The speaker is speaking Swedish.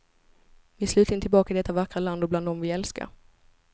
Vi är slutligen tillbaka i detta vackra land och bland dem vi älskar.